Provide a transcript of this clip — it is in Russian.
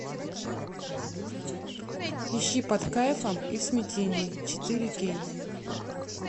ищи под кайфом и в смятении четыре кей